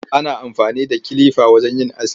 Ana amfani da kilifa wajen yin aski.